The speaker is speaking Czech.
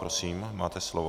Prosím, máte slovo.